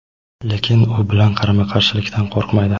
lekin u bilan qarama-qarshilikdan qo‘rqmaydi.